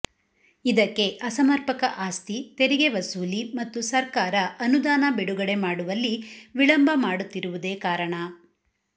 ಇದಕ್ಕೆ ಅಸಮರ್ಪಕ ಆಸ್ತಿ ತೆರಿಗೆ ವಸೂಲಿ ಮತ್ತು ಸರ್ಕಾರ ಅನುದಾನ ಬಿಡುಗಡೆ ಮಾಡುವಲ್ಲಿ ವಿಳಂಬ ಮಾಡುತ್ತಿರುವುದೇ ಕಾರಣ